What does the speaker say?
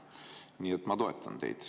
Nii et ma toetan teid.